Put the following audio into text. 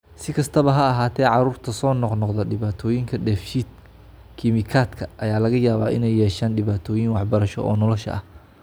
Si kastaba ha ahaatee, carruurta soo noqnoqda dhibaatooyinka dheef-shiid kiimikaadka ayaa laga yaabaa inay yeeshaan dhibaatooyin waxbarasho oo nolosha ah.